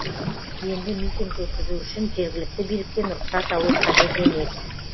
енді митинг өткізу үшін жергілікті биліктен рұқсат алу қажет емес